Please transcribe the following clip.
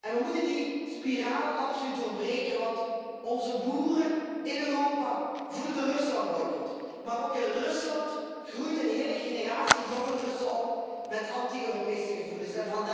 We moeten die spiraal absoluut doorbreken want onze boeren in Europa voelen de Ruslandboycot, maar ook in Rusland groeit een hele generatie jonge Russen op met anti Europese gevoelens.